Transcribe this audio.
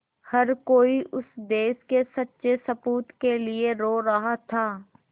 हर कोई उस देश के सच्चे सपूत के लिए रो रहा था